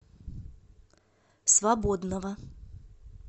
свободного